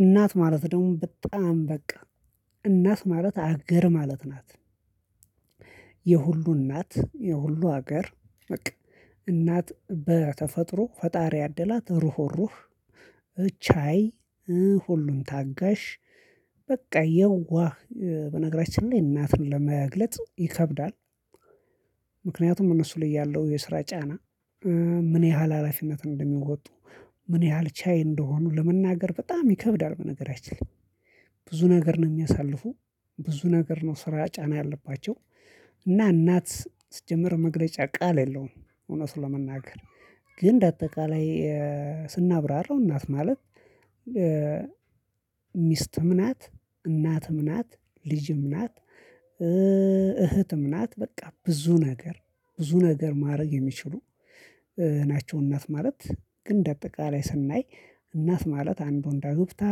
እናት ማለት ደግሞ በጣም በቃ እናት ማለት አገር ማለት ናት። የሁሉ እናት የሁሉ ሀገር በቃ እናት በተፈጥሮ ፈጣሪ ያደላት ሩህሩህ ቻይ ሁሉን ታጋሽ በቃ የዋህ በነገራችን ላይ እናትን ለመግለጽ ይከብዳል። ምክንያቱም እነሱ ላይ ያለው የስራ ጫና ምን ያህል ሀላፊነት እንደሚወጡ ምን ያህል ቻይ እንደሆኑ ለመናገር በጣም ይከብዳል። በነገራችን ላይ። ብዙ ነገር ነው የሚያሳልፉ ብዙ ነገር ነው ስራ ጫና ያለባቸው። እና እናት ስትጀምር መግለጫ ቃል የለውም። እውነት ለመናገር ግን እንዳጠቃላይ ስናብራራው እናት ማለት። ሚስትም ናት እናትም ናት ልጅም ናት እህትም ናት በቃ ብዙ ነገር ብዙ ነገር ማድረግ የሚችሉ ናቸው። እናት ማለት ግን እንደ አጠቃላይ ስናይ እናት ማለት አንዱን ዳግብታ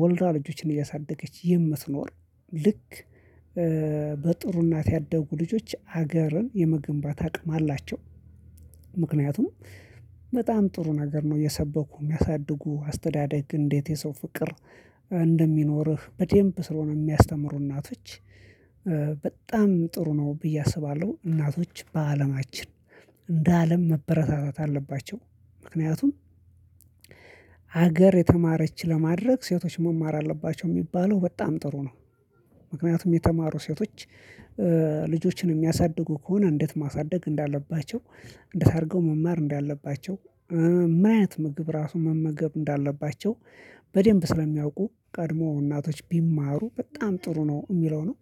ወልዳ ልጆችን እያሳደገች የምትኖር ልክ በጥሩ እናት ያደጉ ልጆች ሀገርን የመገንባት አቅም አላቸው። ምክንያቱም በጣም ጥሩ ነገር ነው የሰበኩ የሚያሳድጉ አስተዳደግ እንዴት የሰው ፍቅር እንደሚኖርህ በደንብ ስለሆነ የሚያስተምሩ እናቶች። በጣም ጥሩ ነው ብዬ አስባለሁ። እናቶች በአለማችን እንደ አለም መበረታታት አለባቸው። ምክንያቱም ሀገር የተማረች ለማድረግ ሴቶች መማር አለባቸው የሚባለው በጣም ጥሩ ነው። ምክንያቱም የተማሩ ሴቶች ልጆችን የሚያሳድጉ ከሆነ እንዴት ማሳደግ እንዳለባቸው እንዴት አድርገው መማር እንዳለባቸው ምን አይነት ምግብ ራሱ መመገብ እንዳለባቸው በደንብ ስለሚያውቁ ቀድሞ እናቶች ቢማሩ በጣም ጥሩ ነው የሚለው ነው